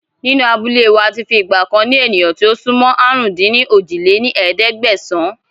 Nínú abúlé wá àti fi ìgbàkan ni ènìyàn tí ó sún mọ́ àrún-dín-ní-ojì lé ní ẹ̀ẹ́dẹ́gbẹ́sán